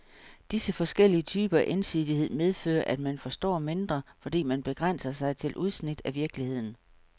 Disse forskellige typer af ensidighed medfører, at man forstår mindre, fordi man begrænser sig til udsnit af virkeligheden.